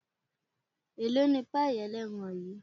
elò ní payí eleerán yíí?